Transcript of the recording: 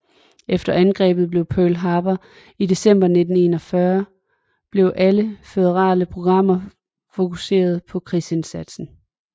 Efter angrebet på Pearl Harbor i december 1941 blev alle føderale programmer fokuseret på krigsindsatsen